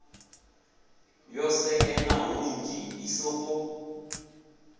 yo sekena hunzhi i sokou